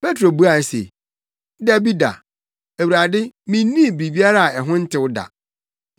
Petro buae se, “Dabi da, Awurade, minnii biribiara a ɛho ntew da.”